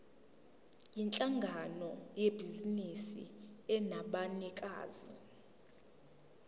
yinhlangano yebhizinisi enabanikazi